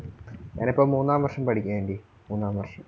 ഞാൻ ഇപ്പം മൂന്നാം വർഷം പഠിക്കുകയാ aunty മൂന്നാം വർഷം.